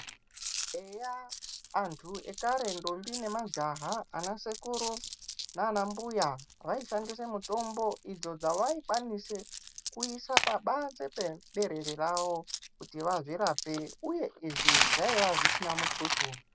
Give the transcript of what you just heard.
Eya!, antu ekare ndombi ,nemajaha anasekuru , nanambuya vaishandise mitombo idzo dzavaikwanise kuise pabanzi peberere ravo, kuti vazvirape uye izvi zvaiya zvisina mutuso.